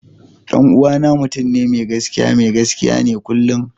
Dan uwana mutum ne mai gaskiya, mai gaskiya ne kullum.